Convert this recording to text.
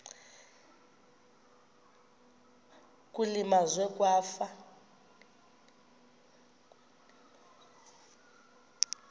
kule meazwe kwafa